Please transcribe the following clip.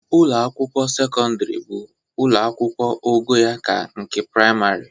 Ụlọ akwụkwọ sekọndịrị bụ ụlọ akwụkwụ ogo ya ka nke prịmarị